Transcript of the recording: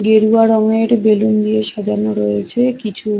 গেরুয়া রঙের বেলুন দিয়ে সাজানো রয়েছে কিছু ।